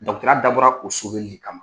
ya dabɔra o kama.